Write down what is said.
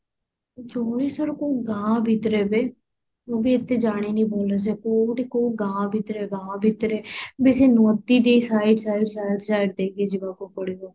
ଜଳେଶ୍ଵର କୋଉ ଗାଁ ଭିତରେ ବେ ମୁଁ ବି ଏତେ ଜାଣିନି ଭଲସେ କୋଉ ଗୋଟେ କୋଉ ଗାଁ ଭିତରେ ଗାଁ ଭିତରେ ବେଶୀ ନଦୀ ଦି side side side side ଦେଇକି ଯିବାକୁ ପଡିବ